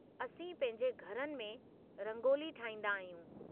असीं पंहिंजे घरनि में रंगोली ठाहींदा आहियूं।